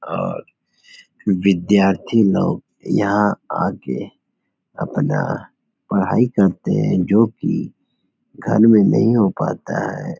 अर् विद्यार्थी लोग यहाँ आके अपना पढाई करते हैं जोकि घर में नहीं हो पाता है।